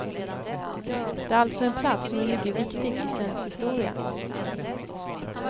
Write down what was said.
Det är alltså en plats som är mycket viktig i svensk historia.